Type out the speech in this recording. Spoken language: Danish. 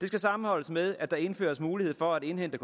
det skal sammenholdes med at der indføres mulighed for at indhente